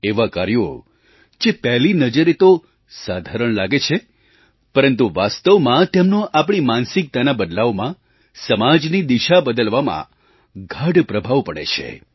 એવાં કાર્યો જે પહેલી નજરે તો સાધારણ લાગે છે પરંતુ વાસ્તવમાં તેમનો આપણી માનસિકતા બદલવામાં સમાજની દિશા બદલવામાં ગાઢ પ્રભાવ પડે છે